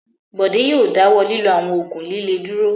Bọ̀dé yóò dáwọ́ lílo àwọn òògùn líle dúró.